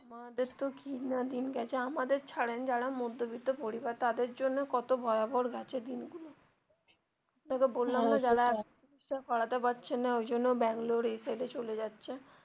বড়দের তো কি না দিন গেছে আমাদের ছাড়েন যারা মধ্যবিত্ত পরিবার তাদের জন্য কত ভয়াবহর গেছে দিন গুলো যারা চিকিৎসা করাতে পারছে না ওই জন্য বাঙ্গালোর এই সাইড এ চলে যাচ্ছে.